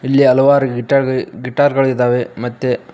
ಇಲ್ಲಿ ಹಲವಾರು ಗಿಟಾರ್ ಗಳಿ ಗಿಟಾರ್ ಗಳಿದಾವೆ ಮತ್ತೆ --